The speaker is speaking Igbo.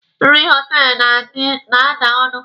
Nri họtelụ na-ada ọnụ.